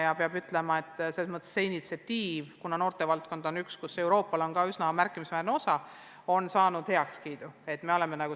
Ja peab ütlema, et see initsiatiiv – kuna noortevaldkonnas mängib Euroopa Liit üsna märkimisväärset osa – on saanud heakskiidu osaliseks.